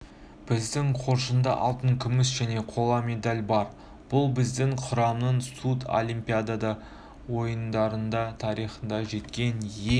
біздің қоржында алтын күміс және қола медаль бар бұл біздің құраманың сурдлимпиада ойындары тарихында жеткен ең